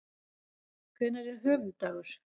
Hvenær er höfuðdagur?